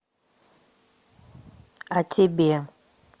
а тебе